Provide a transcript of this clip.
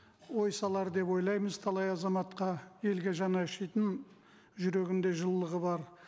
ой салар деп ойлаймыз талай азаматқа елге жаны ашитын жүрегінде жылылығы бар